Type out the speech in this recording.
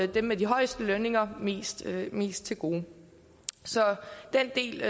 dem med de højeste lønninger mest til mest til gode så den del